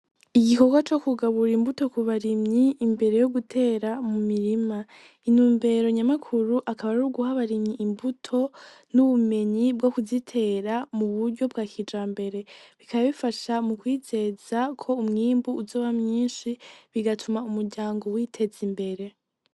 Igikorwa co kugabura imbuto kubarimyi imbere yo gutera mu mirima intumbero nyamukuru akaba ari uguha abarimyi imbuto n'ubumenyi bwo kuzitera muburyo bwa kijambere bikaba bifasha mukwizezako umwimbu uzoba mwinshi bigatuma umuryango witeza imbere.